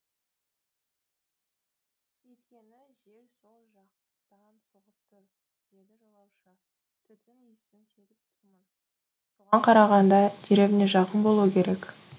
үйткені жел сол жақтан соғып тұр деді жолаушы түтін исін сезіп тұрмын соған қарағанда деревня жақын болуы керек